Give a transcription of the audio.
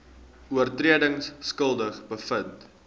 oortredings skuldig bevind